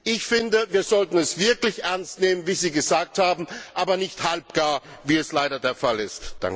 Ich finde, wir sollten es wirklich ernst nehmen, wie Sie gesagt haben, aber nicht halbgar, wie es leider der Fall ist.